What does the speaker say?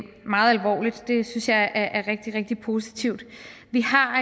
meget alvorligt det synes jeg er rigtig rigtig positivt vi har